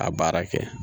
A baara kɛ